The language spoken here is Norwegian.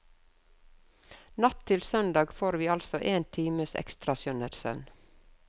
Natt til søndag får vi altså én times ekstra skjønnhetssøvn.